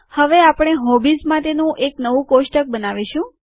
હવે આપણે હોબીઝ માટેનું નવું કોષ્ટક બનાવીશું